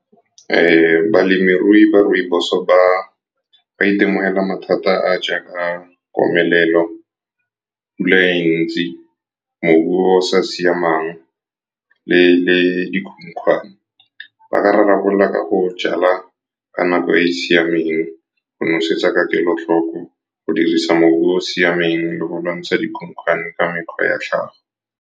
Balemirui ba rooibos-o ba itemogela mathata a a jaaka komelelo, pula e ntsi, mobu o sa siamang le dikhukhwane. Ba ka rarabololwa ka go jala ka nako e e siameng, go nosetsa ka kelotlhoko, go dirisa mobu o o siameng, le go lwantsha dikhukhwane ka mekgwa ya tlhago.